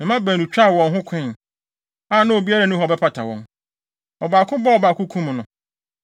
Me mma baanu twaa wɔn ho koe, a na obiara nni hɔ a ɔbɛpata wɔn. Ɔbaako bɔɔ ɔbaako kum no.